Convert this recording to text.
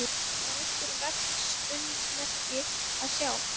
Var einhver verksummerki að sjá?